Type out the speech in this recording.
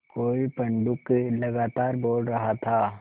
कोई पंडूक लगातार बोल रहा था